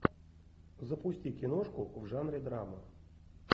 запусти киношку в жанре драма